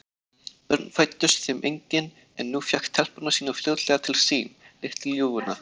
Börn fæddust þeim engin, en hún fékk telpuna sína fljótlega til sín, litlu ljúfuna.